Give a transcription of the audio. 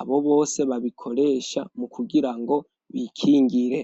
abo bose babikoresha mu kugira ngo bikingire.